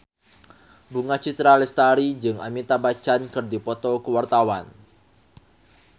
Bunga Citra Lestari jeung Amitabh Bachchan keur dipoto ku wartawan